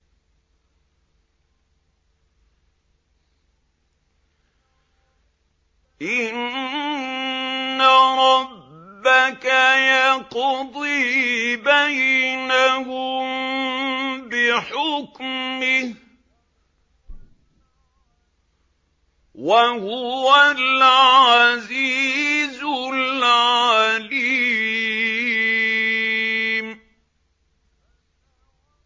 إِنَّ رَبَّكَ يَقْضِي بَيْنَهُم بِحُكْمِهِ ۚ وَهُوَ الْعَزِيزُ الْعَلِيمُ